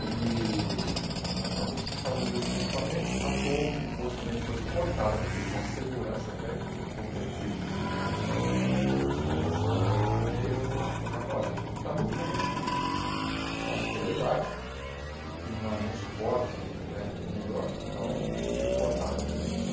ele acabou se desfazendo desses equipamentos, a torre depois também foi cortada por questão de segurança, até com o tempo foi eh uma fiscalização até dos bombeiros, foram lá e falaram, olha, está muito bem construída, mas pela idade e porque não há nenhum suporte né melhor, então tem que cortar.